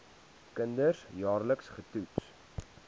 kinders jaarliks getoets